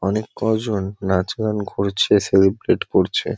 অনেক কজন নাচ-গান করছে সেলিব্রেট করছে।